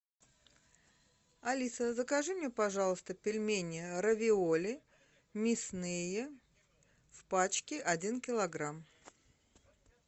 алиса закажи мне пожалуйста пельмени равиоли мясные в пачке один килограмм